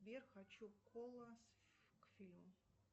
сбер хочу кола к фильму